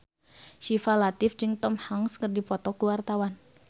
Syifa Latief jeung Tom Hanks keur dipoto ku wartawan